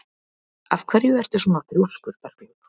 Af hverju ertu svona þrjóskur, Berglaug?